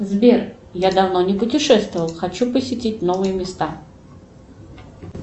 сбер я давно не путешествовал хочу посетить новые места